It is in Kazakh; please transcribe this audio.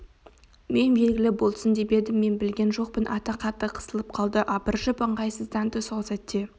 мен белгілі болсын деп едім мен білген жоқпын ата қатты қысылып қалды абыржып ыңғайсызданды сол сәтте